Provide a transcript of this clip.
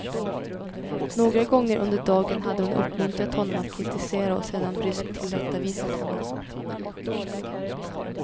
Några gånger under dagen hade hon uppmuntrat honom att kritisera och sedan bryskt tillrättavisat honom.